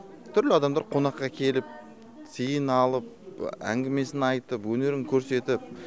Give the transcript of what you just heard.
түрлі адамдар қонаққа келіп сыйын алып әңгімесін айтып өнерін көрсетіп